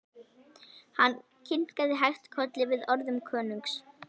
Hann kinkaði hægt kolli við orðum konungs.